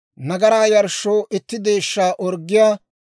nagaraa yarshshoo itti deeshshaa orggiyaa;